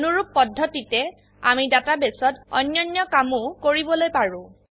অনুৰুপ পদ্ধতিতে আমি ডাটাবেসত অন্যান্য কামোও কৰিবলৈ পাৰো